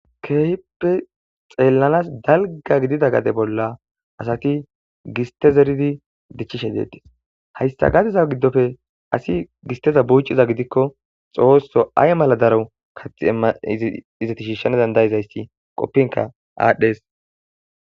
Kehippe xelans daliga gade gidida bola asati giste zeridi dichishe detes haysa gadeza gidoppe asi gisteza buciza gidikko xoso ayi mala daro kati imane izeti shishshanas dandaizayisi qopinka adhes.